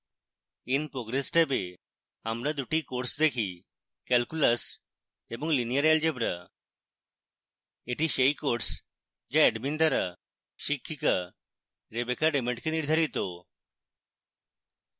in progress ট্যাবে আমরা 2 the courses দেখি: calculus এবং linear algebra এটি সেই courses যা admin দ্বারা শিক্ষকা rebecca raymond কে নির্ধারিত